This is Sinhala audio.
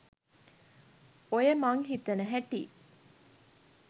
ඔය මන් හිතන හැටි